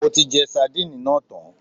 Mo ti jẹ sadínìnì náà tán